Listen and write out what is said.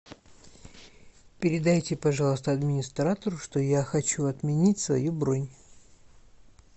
передайте пожалуйста администратору что я хочу отменить свою бронь